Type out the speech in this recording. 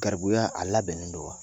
Garibuya a labɛnnen don wa